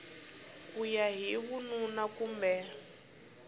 ku ya hi vununa kumbe